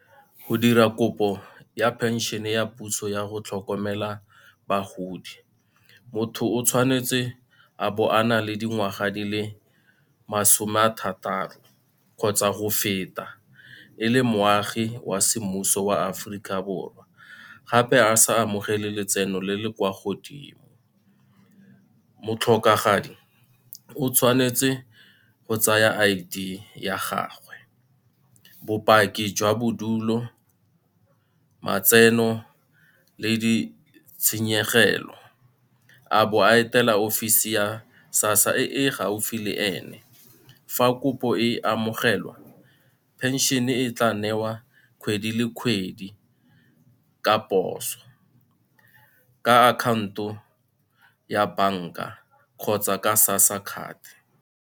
Go dira kopo ya phensene ya puso yago tlhokomela bagodi, motho o tshwanetse a bo a na le dingwaga di le masome a thataro kgotsa go feta, e le moagi wa semmuso wa Aforika Borwa gape a sa amogele letseno le le kwa godimo. Motlhokagadi o tshwanetse go tsaya I_D ya gagwe, bopaki jwa bodulo, matseno le ditshenyegelo, a bo a etela offisi ya SASSA e gaufi le ene. Fa kopo e amogelwa pension e tla newa kgwedi le kgwedi ka poso, ka akhaonto ya banka kgotsa ka SASSA card.